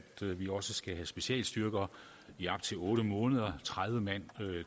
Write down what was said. vi også skal have specialstyrker i op til otte måneder tredive mand